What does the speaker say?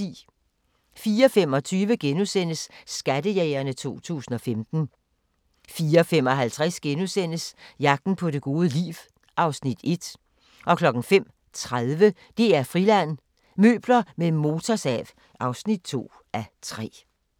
04:25: Skattejægerne 2015 * 04:55: Jagten på det gode liv (Afs. 1)* 05:30: DR-Friland: Møbler med motorsav (2:3)